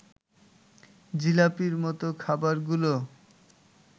জিলাপির মত খাবারগুলো